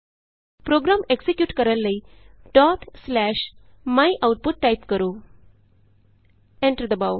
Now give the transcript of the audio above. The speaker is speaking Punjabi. ਪ੍ਰੋਗਰਾਮ ਐਕਜ਼ੀਕਿਯੂਟ ਕਰਨ ਲਈ ਡੋਟ ਸਲੈਸ਼ myoutput ਟਾਈਪ ਕਰੋ ਐਂਟਰ ਦਬਾਉ